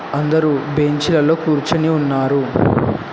అందరూ బెంచి లలో కూర్చొని ఉన్నారు.